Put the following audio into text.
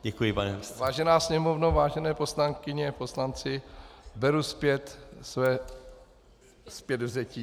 Vážená Sněmovno, vážené poslankyně, poslanci, beru zpět své zpětvzetí.